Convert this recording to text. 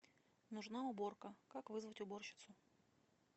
нужна уборка как вызвать уборщицу